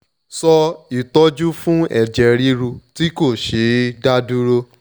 so itoju fun eje riru ti ko she e da duro